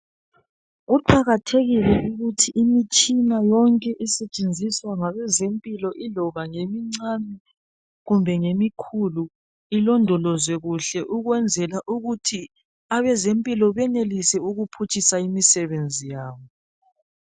Kuqakathekile ukuthi imitshina yonke esetshenziswa ngabe zempilo iloba ngemincane kumbe ngemi khulu ilondolozwe kuhle ukwenzela ukuthi abezempilo benelise ukuphutshisa imisebenzi yabo.